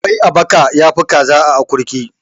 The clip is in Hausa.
Kwai a baka yafi kaza a akurki.